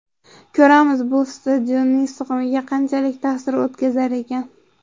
Ko‘ramiz, bu stadionning sig‘imiga qanchalik ta’sir o‘tkazar ekan.